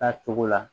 Taa cogo la